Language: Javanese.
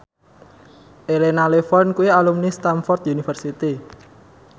Elena Levon kuwi alumni Stamford University